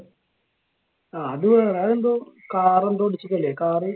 ആഹ് അത്. അതെന്തോ car എന്തോ ഇടിച്ചത് അല്ലെ? car